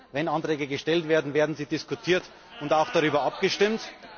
Wenn Anträge gestellt werden, werden sie diskutiert, und es wird auch darüber abgestimmt.